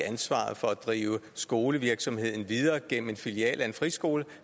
ansvaret for at drive skolevirksomheden videre gennem en filial af en friskole